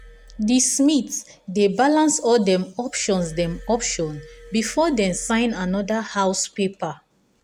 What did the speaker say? the smith dey balance all dem options dem options before dem sign another house paper.